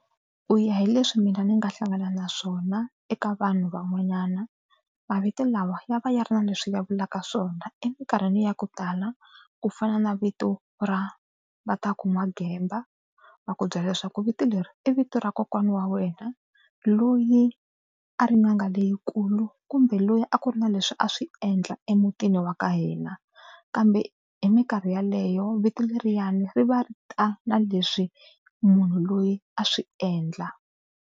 Ku ya hi leswi mina ni nga hlangana na swona eka vanhu van'wanyana. Mavito lawa ya va ya ri na leswi ya vulaka swona emikarhini ya ku tala ku fana na vito ra Vatakun'wagemba. Va ku byela leswaku vito leri i vito ra kokwana wa wena loyi a ri n'anga leyikulu kumbe loyi a ku ri na leswi a swi endla emutini wa ka hina kambe hi mikarhi yaleyo vito leriwani ri va ri ta na leswi munhu loyi a swi endla.